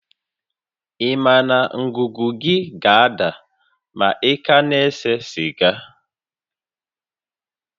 Ị ma na ngụgụ gị ga-ada ma ị ka na-ese siga?